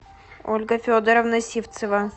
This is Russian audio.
ольга федоровна сивцева